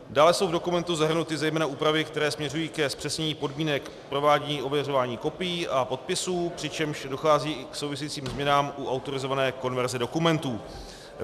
Dále jsou v dokumentu zahrnuty zejména úpravy, které směřují k zpřesnění podmínek provádění ověřování kopií a podpisů, přičemž dochází i k souvisejícím změnám u autorizované konverze dokumentů.